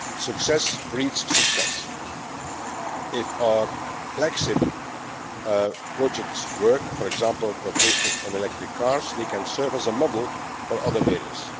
Success breeds success if our flagship' projects work for example, our cooperation on electric cars they can serve as a model for other areas.